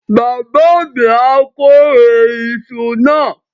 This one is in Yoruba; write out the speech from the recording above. Bàbá mi á kórè iṣu náà.